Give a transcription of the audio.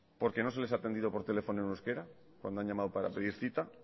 porque no se les ha atendido por teléfono en euskara cuando han llamado para pedir cita